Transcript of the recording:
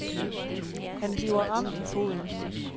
Han bliver ramt i foden.